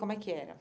Como é que era?